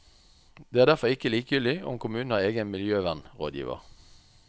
Det er derfor ikke likegyldig om kommunen har en egen miljøvernrådgiver.